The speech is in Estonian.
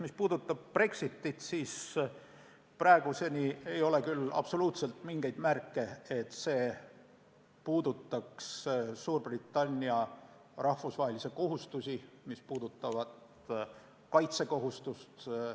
Mis puudutab Brexitit, siis praeguseni ei ole küll absoluutselt mingeid märke, et see puudutaks Suurbritannia rahvusvahelisi kohustusi, mis puudutavad kaitsekohustust.